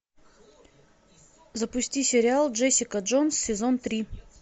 запусти сериал джессика джонс сезон три